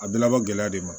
A bɛɛ labɔ gɛlɛya de ma